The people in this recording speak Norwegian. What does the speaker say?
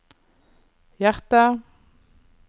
hjerter